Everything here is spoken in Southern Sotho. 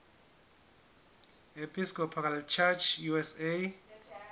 episcopal church usa